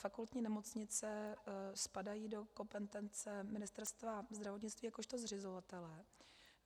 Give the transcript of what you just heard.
Fakultní nemocnice spadají do kompetence Ministerstva zdravotnictví jakožto zřizovatele.